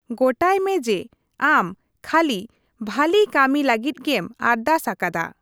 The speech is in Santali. ᱜᱚᱴᱟᱭ ᱢᱮ ᱡᱮ ᱟᱢ ᱠᱷᱟᱹᱞᱤ ᱵᱷᱟᱞᱤ ᱠᱟᱹᱢᱤ ᱞᱟᱹᱜᱤᱫ ᱜᱮᱢ ᱟᱨᱫᱟᱥ ᱟᱠᱟᱫᱟ ᱾